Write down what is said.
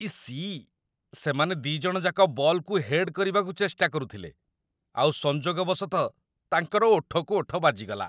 EC! ସେମାନେ ଦି'ଜଣଯାକ ବଲ୍‌କୁ ହେଡ୍ କରିବାକୁ ଚେଷ୍ଟା କରୁଥିଲେ, ଆଉ ସଂଯୋଗ ବଶତଃ ତାଙ୍କର ଓଠକୁ ଓଠ ବାଜିଗଲା ।